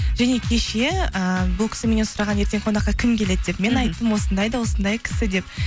және кеше ііі бұл кісі меннен сұраған еді ертең қонаққа кім келеді деп мен айттым осындай да осындай кісі деп